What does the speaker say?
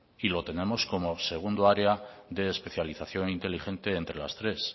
y lo tenemos como segundo área de especialización inteligente entre las tres